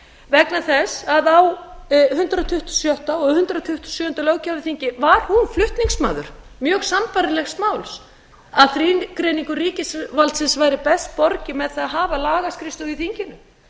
vegna þess að á hundrað tuttugasta og sjötta og hundrað tuttugasta og sjöunda löggjafarþingi var hún flutningsmaður mjög sambærilegs máls að þrígreiningu ríkisvaldsins væri best borgið með því að hafa lagaskrifstofu í þinginu